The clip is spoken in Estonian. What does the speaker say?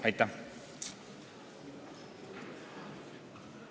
Aitäh!